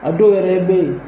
A dɔw yɛrɛ bɛ ye.